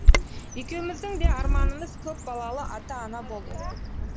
екеуміздің де арманымыз көп балалы ата ана болу